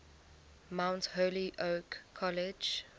mount holyoke college